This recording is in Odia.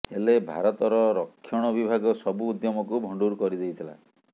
ହେଲେ ଭାରତର ରକ୍ଷଣ ବିଭାଗ ସବୁ ଉଦ୍ୟମକୁ ଭଣ୍ଡୁର କରିଦେଇଥିଲା